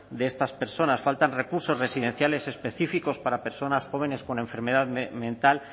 de estas personas faltan recursos residenciales específicos para personas jóvenes con enfermedad mental